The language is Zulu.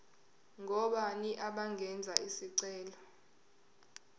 ngobani abangenza isicelo